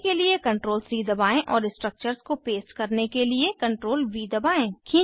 copy के लिए CTRL C दबाएं और स्ट्रक्चर्स को पेस्ट करने के लिए CTRLV दबाएं